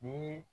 Ni